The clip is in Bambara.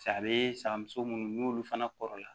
Sa a bɛ sakamuso munnu n'olu fana kɔrɔ la